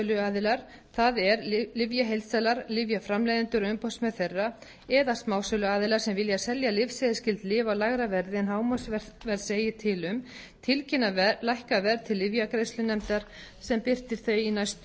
það er lyfjaheildsalar lyfjaframleiðendur og umboðsmenn þeirra eða smásöluaðilar sem vilja selja lyfseðilsskyld lyf á lægra verði en hámarksverð segir til um tilkynna lækkað verð til lyfjagreiðslunefndar sem birtir þau í næstu